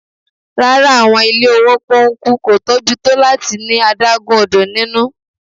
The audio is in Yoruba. Rara, awọn ile owo pónkú, ko tobi to lati ni adagun odo ninu.